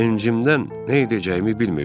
Sevincimdən nə edəcəyimi bilmirdim.